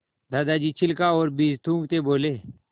दादाजी छिलका और बीज थूकते बोले